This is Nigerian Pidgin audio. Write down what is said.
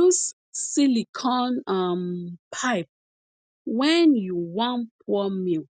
use silicone um pipe wen u wan pour milk